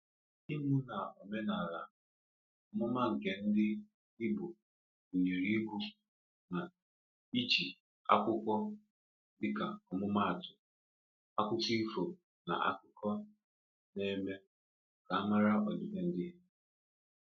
Ịmụ na omenala: Ọmụma nke ndị Igbo gụnyere ịgụ na iji akwụkwọ, dịka ọmụma atụ, akụkọ ifo na akụkọ n'eme ka a mara ọdịbendị ha.